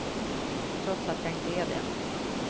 Trots att jag inte är det.